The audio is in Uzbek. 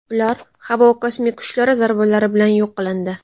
Ular havo kosmik kuchlari zarbalari bilan yo‘q qilindi.